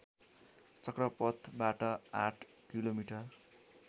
चक्रपथबाट आठ किलोमिटर